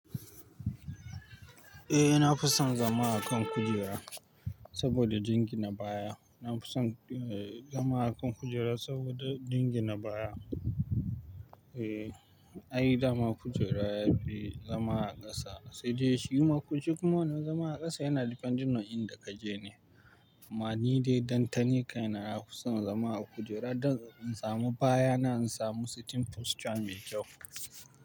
Eh na fi son zama a kan kujera saboda dingi ne baya. Na fi son, eh, zama a kan kujera saboda dingi na baya. Eh, ayi dama kujera yafi zama a ƙasa sai dai shiuma kujeru kuma wanan zama a ƙasa yana depending on inda kaje ne. Amma ni dai dantani kai na na fi son zama a kujera don in samu baya na in samu sitting posture mai kyau.